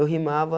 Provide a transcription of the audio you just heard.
Eu rimava